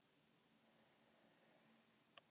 Vinurinn léttur í gættinni.